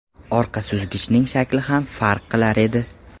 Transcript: Orqa suzgichining shakli ham farq qilar edi.